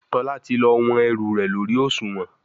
Tola ti lọ wón ẹrù rẹ lórí Òṣùwọ̀n.